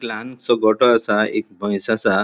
लानसो गोटो असा एक म्हैस आसा.